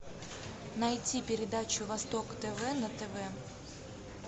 найти передачу восток тв на тв